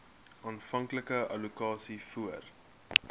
aanvanklike allokasies voor